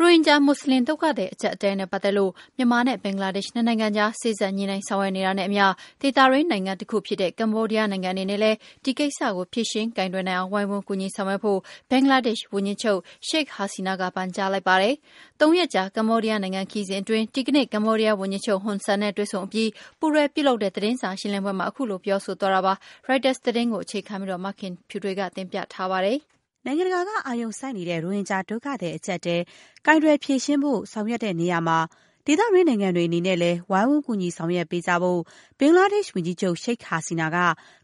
ရိုဟင်ဂျာ မူစလင်ဒုက္ခသည် အကျပ်အတည်းနဲ့ပတ်သက်လို့ မြန်မာနဲ့ ဘင်္ဂလားဒေ့ရှ် နှစ်နိုင်ငံကြား စေ့စပ်ညှိနှိုင်း ဆောင်ရွက်နေတာနဲ့အမျှ ဒေသတွင်းနိုင်ငံတခုဖြစ်တဲ့ ကမ္ဘောဒီယားနိုင်ငံအနေနဲ့လည်း ဒီကိစ္စ ဖြေရှင်းကိုင်တွယ်နိုင်အောင် ဝိုင်းဝန်ကူညီဆောင်ရွက်ဖို့ ဘင်္ဂလားဒေ့ရှ် ဝန်ကြီးချုပ် Sheikh Hasina ပန်ကြားလိုက် ပါတယ်။ သုံးရက်ကြာ ကမ္ဘောဒီးယားနိုင်ငံခရီးစဉ်အတွင်း ဒီကနေ့ ကမ္ဘောဒီးယား ဝန်ကြီးချုပ် Hun Sen နဲ့တွေ့ဆုံအပြီး ပူးတွဲပြုလုပ်တဲ့ သတင်းစာရှင်းလင်းပွဲမှာ ခုလိုပြောဆိုသွားတာပါ။ ရိုက်တာသတင်းကို အခြေခံပြီး မခင်ဖြူထွေးက တင်ပြပေးပါမယ်။ နိုင်ငံတကာက အာရုံစိုက်နေတဲ့ ရိုဟင်ဂျာ ဒုက္ခသည် အကျပ်အတည်း ကိုင်တွယ်ဖြေရှင်းဖို့ ဆောင်ရွက်နေတဲ့နေရာမှာ ဒေသတွင်း နိုင်ငံတွေ အနေနဲ့လည်း ဝိုင်းဝန်း ကူညီဆောင်ရွက်ပေးကြဖို့ ဘင်္ဂလားဒေ့ရှ်ဝန်ကြီးချုပ် ရှိက်ဟာစီနာက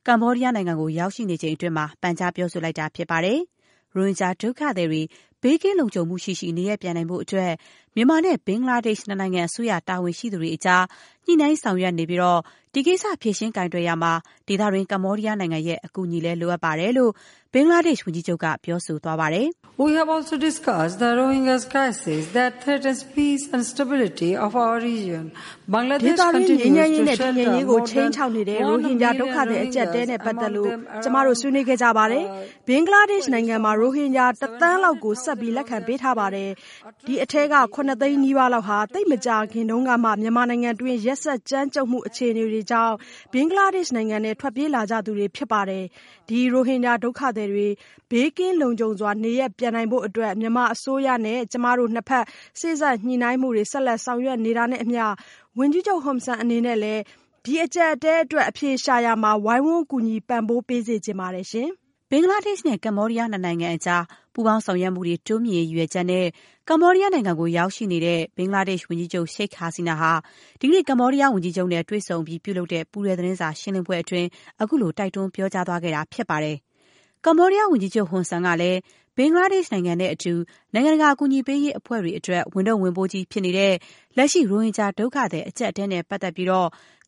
ကမ္ဘောဒီးယားနိုင်ငံကို ရောက်ရှိနေချိန်အတွင်း ပန်ကြား ပြောဆိုလိုက်တာဖြစ်ပါတယ်။ ရိုဟင်ဂျာ ဒုက္ခသည်တွေ ဘေးကင်းလုံခြုံမှုရှိရှိ နေရပ်ပြန်နိုင်ဖို့အတွက် မြန်မာနဲ့ ဘင်္ဂလားဒေ့ရှ် နှစ်နိုင်ငံ အစိုးရတာဝန်ရှိသူတွေကြား ညှိနှိုင်းဆောင်ရွက်နေပြီ်း ဒီကိစ္စ ဖြေရှင်းကိုင်တွယ်ရာမှာ ဒေသတွင်း ကမ္ဘောဒီးယားနိုင်ငံရဲ့ အကူအညီလည်း လိုအပ်တဲ့အကြောင်း ဘင်္ဂလားဒေ့ရှ် ဝန်ကြီးချုပ်က ပြောဆိုသွားတာပါ။ "ဒေသတွင်း ငြိမ်းချမ်းရေးနဲ့ တည်ငြိမ်ရေးကို ခြိမ်းခြောက်နေတဲ့ ရိုဟင်ဂျာ ဒုက္ခသည် အကျပ်အတည်းနဲ့ ပတ်သက်လို့ ကျမတို့ ဆွေးနွေးခဲ့ကြပါတယ်။ ဘင်္ဂလားဒေ့ရှ်နိုင်ငံမှာ ရိုဟင်ဂျာ ၁ သန်းလောက်ကို ဆက်ပြီး လက်ခံပေးထားပါတယ်။ ဒီအထဲက ၇ သိန်းနီးပါး လောက်ဟာ သိပ်မကြာခင်တုန်းကမှ မြန်မာနိုင်ငံတွင်း ရက်စက်ကြမ်းကြုတ်မှုအခြေအနေတွေကြောင့် ဘင်္ဂလားဒေ့ရှ်နိုင်ငံထဲ ထွက်ပြေးလာကြသူတွေ ဖြစ်ပါတယ်။ ဒီ ရိုဟင်ဂျာ ဒုက္ခသည်တွေ ဘေးကင်းလုံခြုံစွာ နေရပ်ပြန်နိုင်ဖို့အတွက် မြန်မာအစိုးရနဲ့ ကျမတို့ နှစ်ဘက် စေ့စပ်ညှိနှိုင်းမှုတွေ ဆက်လက် ဆောင်ရွက်နေတာနဲ့အမျှ၊ ဝန်ကြီးချုပ် ဟွန်ဆန် အနေနဲ့လည်း ဒီအကျပ်အတည်းအတွက် အဖြေရှာရာမှာ ဝိုင်းဝန် ကူညီပံ့ပိုးပေးစေချင်ပါတယ်။” ဘင်္ဂလားဒေ့ရှ်နဲ့ ကမ္ဘောဒီးယား နှစ်နိုင်ငံကြား ပူးပေါင်းဆောင်ရွက်မှုတွေ တိုးမြှင့်ရေး ရည်ရွယ်ချက်နဲ့ ကမ္ဘောဒီးယားနိုင်ငံကို ရောက်ရှိနေတဲ့ ဘင်္ဂလားဒေ့ရှ် ဝန်ကြီးချုပ် ရှိက်ဟာစီနာက ဒီကနေ့ ကမ္ဘောဒီးယားဝန်ကြီးချုပ်နဲ့ တွေ့ဆုံအပြီး ပြုလုပ်တဲ့ ပူးတွဲသတင်းစာရှင်းလင်းပွဲမှာ အခုလို တိုက်တွန်း ပြောဆိုသွားခဲ့တာ ဖြစ်ပါတယ်။ ကမ္ဘောဒီးယားဝန်ကြီးချုပ် ဟွန်ဆန် ကလည်း ဘင်္ဂလားဒေ့ရှ်နိုင်ငံနဲ့အတူ နိုင်ငံတကာအကူအညီပေးရေး အဖွဲ့တွေ အတွက် ဝန်ထုတ်ဝန်ပိုးကြီး ဖြစ်နေတဲ့ လက်ရှိ ရိုဟင်ဂျာ ဒုက္ခသည်အကျပ်အတည်းနဲ့ပတ်သက်ပြီး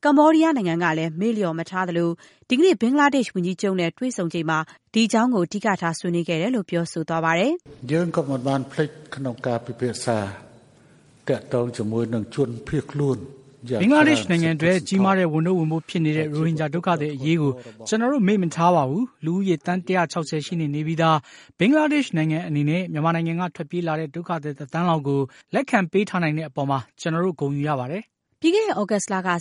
ကမ္ဘောဒီးယားနိုင်ငံကလည်း မေ့လျော့မထားသလို၊ ဒီကနေ့ ဘင်္ဂလား ဒေ့ရှ်ဝန်ကြီးချုပ်နဲ့ တွေ့ဆုံချိန်မှာ ဒီအကြောင်းကို အဓိကထား ဆွေးနွေးခဲ့ကြတဲ့အကြောင်း ပြောဆိုပါတယ်။ "ဘင်္ဂလားဒေ့ရှ်နိုင်ငံအတွက် ကြီးမားတဲ့ ဝန်ထုတ်ဝန်ပိုး ဖြစ်နေတဲ့ ရိုဟင်ဂျာ ဒုက္ခသည်အရေးကိစ္စကို ကျနော်တို့ မေ့ မထားပါဘူး။ လူဦးရေ သန်း ၁၆၀ ရှိနှင့်နေပြီးသား ဘင်္ဂလားဒေ့ရှ်နိုင်ငံ အနေနဲ့ မြန်မာနိုင်ငံက ထွက်ပြေးလာတဲ့ ဒုက္ခသည် တသန်းလောက်ကို လက်ခံပေးထားနိုင်တဲ့ အပေါ်မှာ ကျနော်တို့ ဂုဏ်ယူရပါတယ်။” ပြီးခဲ့တဲ့သြဂုတ်လက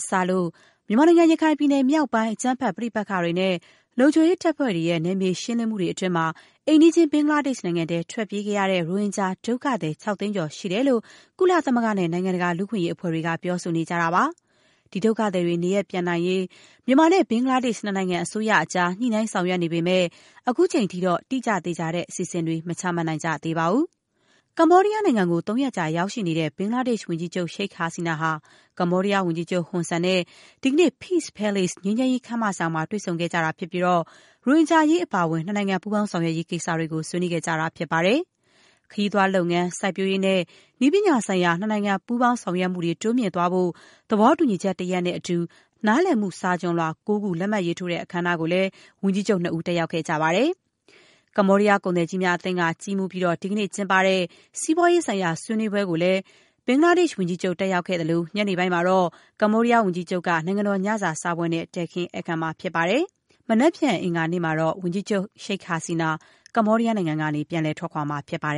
စလို့ မြန်မာနိုင်ငံ ရခိုင်ပြည်နယ်မြောက်ပိုင်း အကြမ်းဖက်ပဋိပက္ခတွေနဲ့ လုံခြုံရေးတပ်ဖွဲ့တွေရဲ့ နယ်မြေရှင်းလင်းမှုတွေ အတွင်းမှာ အိမ်နီးချင်း ဘင်္ဂလားဒေ့ရှ်နိုင်ငံထဲ ထွက်ပြေးခဲ့ရတဲ့ ရိုဟင်ဂျာဒုက္ခသည် ၆ သိန်းကျော် ရှိတယ်လို့ ကုလသမဂ္ဂနဲ့ နိုင်ငံတကာ လူ့အခွင့်အရေး အဖွဲ့တွေက ပြောဆိုနေကြတာပါ။ ဒီဒုက္ခသည်တွေ နေရပ် ပြန်နိုင်ရေး မြန်မာနဲ့ ဘင်္ဂလားဒေ့ရှ်နိုင်ငံ အစိုးရတွေကြား စေ့စပ်ညှိနှိုင်း ဆောင်ရွက်နေပေမဲ့၊ ခုချိန်ထိတော့ တိကျသေချာတဲ့ အစီအစဉ်တွေ မချမှတ်နိုင်ကြသေးပါဘူး။ ကမ္ဘောဒီးယားနိုင်ငံကို သုံးရက်ကြာ ရောက်ရှိနေတဲ့ ဘင်္ဂလားဒေ့ရှ်ဝန်ကြီးချုပ် ရှိက်ဟာစီနာ ဟာ ကမ္ဘောဒီးယား ဝန်ကြီးချုပ် ဟွန်ဆန်နဲ့ ဒီကနေ့ Peace Palace ငြိမ်းချမ်းရေးခမ်းမဆောင်မှာ တွေ့ဆုံခဲ့တာဖြစ်ပြီး၊ ရိုဟင်ဂျာအရေးအပါအဝင် နှစ်နိုင်ငံ ပူးပေါင်းဆောင်ရွက်ရေး ကိစ္စတွေကို ဆွေးနွေးခဲ့ကြတာဖြစ်ပါတယ်။ ခရီးသွားလုပ်ငန်း၊ စိုက်ပျိုးရေးနဲ့ နည်းပညာဆိုင်ရာ နှစ်နိုင်ငံ ပူးပေါင်း ဆောင်ရွက်မှုတွေ တိုးမြှင့်သွားဖို့ သဘောတူညီချက်တရပ်နဲ့အတူ နားလည်မှုစာချွန်လွှာ ၉ ခု လက်မှတ်ရေးထိုးတဲ့ အခမ်းအနားကိုလည်း ဝန်ကြီးချုပ် နှစ်ဦး တက်ရောက်ခဲ့ကြပါတယ်။ ကမ္ဘောဒီးယားကုန်သည်ကြီးများအသင်းက ကြီးမှူးပြီး ဒီကနေ့ကျင်းပတဲ့ စီးပွားရေးဆိုင်ရာဆွေးနွေးပွဲကိုလည်း ဘင်္ဂလားဒေ့ရှ်ဝန်ကြီးချုပ် တက်ရောက်ခဲ့သလို၊ ညနေပိုင်းမှာတော့ ကမ္ဘောဒီးယားဝန်ကြီးချုပ်က နိုင်ငံတော်ညစာစားပွဲနဲ့ တည်းခင်းဧည့်ခံမှာပါ။ မနက်ဖြန် အင်္ဂါနေ့မှာတော့ ဝန်ကြီးချုပ် ရှိက်ဟာစီနာ ကမ္ဘောဒီးယားနိုင်ငံကနေ ပြန်လည်ထွက်ခွာမှာဖြစ်ပါတယ်